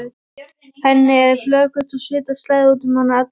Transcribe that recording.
Henni er flökurt og svita slær út um hana alla.